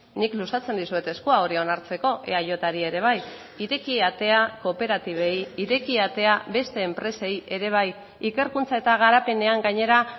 nik luzatzen dizuet eskua hori onartzeko eajri ere bai ireki atea kooperatibei ireki atea beste enpresei ere bai ikerkuntza eta garapenean gainera